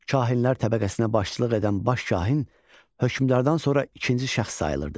Kahinlər təbəqəsinə başçılıq edən baş kahin hökmdardan sonra ikinci şəxs sayılırdı.